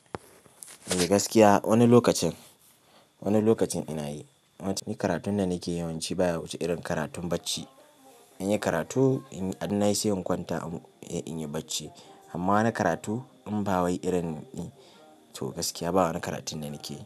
Eh gaskiya wani lokacin, wani lokacin ina yi. Wancan karatun da nake yawanci baya wuce irin karatun bacci. In yi karatu, in na yi sai in kwanta in yi bacci. Amma wani karatu inba wai irin in to gaskiya ba wani karatu da nakeyi.